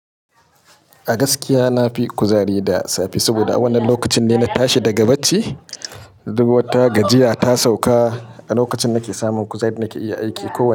A gaskiya na fi kuzari da safe saboda a wannan lokacin ne na tashi daga bacci. Dubu wata gajiya ta sauka a lokacin da nake samun kuzari da nake iya aiki kowane.